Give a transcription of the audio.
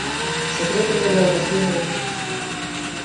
секрет на миллион последний выпуск